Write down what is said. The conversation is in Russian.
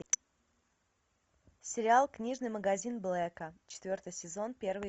сериал книжный магазин блэка четвертый сезон первый